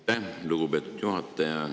Aitäh, lugupeetud juhataja!